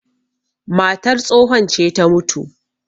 matar tsohon ce ta mutu